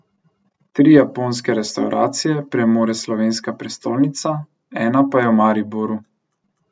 Tri japonske restavracije premore slovenska prestolnica, ena pa je v Mariboru.